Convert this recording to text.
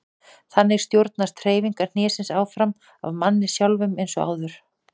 Þannig stjórnast hreyfingar hnésins áfram af manni sjálfum eins og áður.